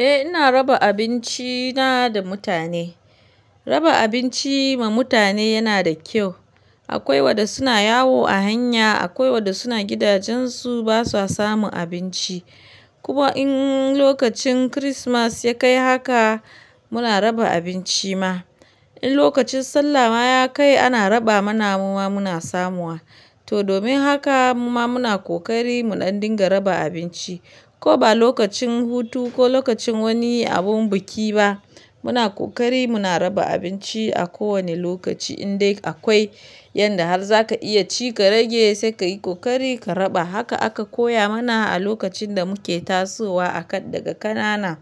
Eh, ina raba abinci na da mutane. Raba abinci ma mutane yana da kyau. Akwai wanda suna yawo a hanya, akwai wanda suna gidajensu basu samu abinci. Kuma in lokacin Kirismas ya kai haka muna raba abinci ma. In lokacin Sallah ma ya kai ana raba mana muma muna samuwa. To domin haka mu ma muna kokari muɗan dinga raba abinci. Ko ba lokacin hutu ko lokacin wani abun biki ba muna kokari muna raba abinci a kowane lokaci. In dai akwai yanda har za ka iya ci ka rage sai ka yi kokari ka raba. Haka aka koya mana a lokacin da muke tasowa a kan daga ƙanana.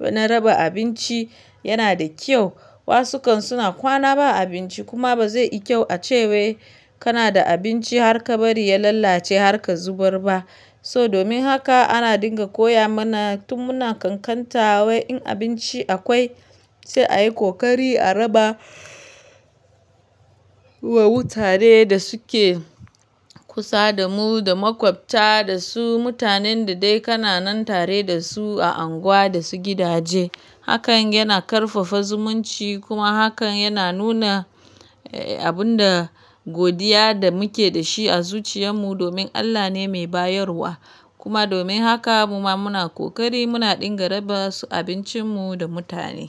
Na raba abinci yana da kyau. Wasu kan suna kwana ba abinci kuma ba zai yi kyau a ce wai kana da abinci har ka bari ya lalace har ka zubar ba. So domin haka ana dinga koya mana tun muna ƙanƙanta wai in abinci akwai sai a yi kokari a raba Akwai mutane da suke kusa da mu da makwafta da su mutanen da dai kana nan tare da su a anguwa da su gidaje. Hakan yana ƙarfafa zumunci kuma hakan yana nuna abun da godiya da muke da shi a zuciyar mu domin Allah ne mai bayarwa. Kuma domin haka mu ma muna kokari muna dinga raba su abincinmu da mutane.